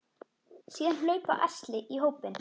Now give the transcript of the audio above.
Síðan hlaupa ærsli í hópinn.